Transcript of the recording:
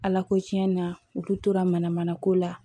Ala ko cɛn na u tora mana mana ko la